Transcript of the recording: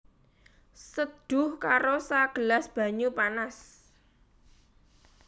Seduh karo sagelas banyu panas